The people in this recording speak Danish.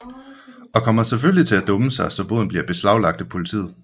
Og kommer selvfølgelig til at dumme sig så boden bliver beslaglagt af politiet